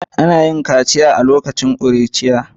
Ana yin kaciya galibi a lokacin ƙuruciya